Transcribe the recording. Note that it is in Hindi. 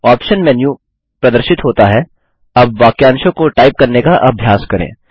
आप्शन मेन्यू प्रदर्शित होता हैअब वाक्यांशों को टाइप करने का अभ्यास करें